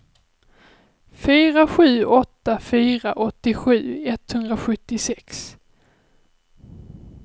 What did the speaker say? fyra sju åtta fyra åttiosju etthundrasjuttiosex